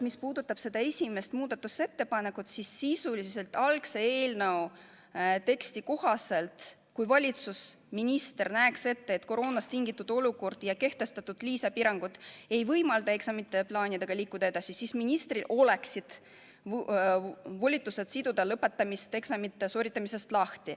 Mis puudutab seda esimest muudatusettepanekut, siis eelnõu algse teksti kohaselt, kui valitsus või minister näeks ette, et koroonast tingitud olukorra ajaks kehtestatud lisapiirangud ei võimalda eksamite plaanidega edasi liikuda, oleks ministril volitus siduda lõpetamine eksamite sooritamisest lahti.